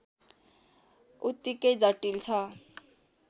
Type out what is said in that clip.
उत्तिकै जटिल छ